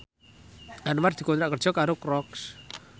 Anwar dikontrak kerja karo Crocs